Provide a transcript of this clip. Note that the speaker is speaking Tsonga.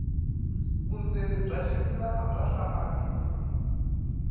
vundzeni bya ximilana bya hlamarisa